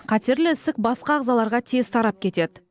қатерлі ісік басқа ағзаларға тез тарап кетеді